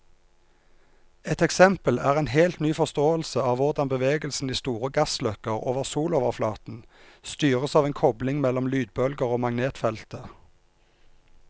Et eksempel er en helt ny forståelse av hvordan bevegelsen i store gassløkker over soloverflaten styres av en kobling mellom lydbølger og magnetfeltet.